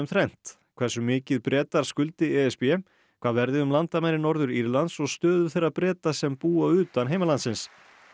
þrennt hversu mikið Bretar skuldi e s b hvað verði um landamæri Norður Írlands og stöðu þeirra Breta sem búa utan heimalandsins